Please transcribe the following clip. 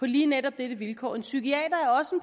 lige netop dette vilkår en psykiater